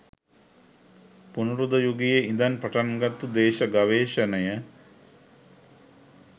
පුනරුද යුගයේ ඉඳන් පටන් ගත්තු දේශ ගවේෂණය